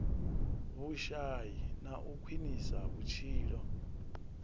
vhushai na u khwinisa vhutshilo